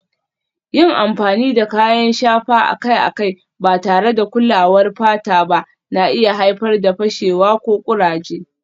Yin amfani da kayan shafa akai-akai ba tare da kulawar fata ba na iya haifar da fashewa ko kuraje